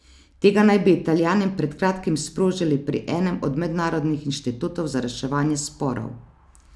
Tega naj bi Italijani pred kratkim sprožili pri enem od mednarodnih inštitutov za reševanje sporov.